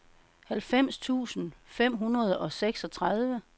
halvfems tusind fem hundrede og seksogtredive